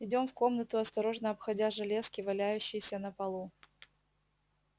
идём в комнату осторожно обходя железки валяющиеся на полу